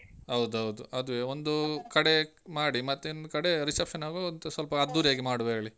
ಹೌದೌದು ಅದುವೆ ಒಂದೂ. ಕಡೆ ಮಾಡಿ, ಮತ್ತ್ ಒಂದ್ ಕಡೆ reception ಆಗುವಾಗ ಒಂಚೂರ್ ಸ್ವಲ್ಪಾ ಅದ್ದೂರಿ ಆಗಿ ಮಾಡುದು ಹೇಳಿ.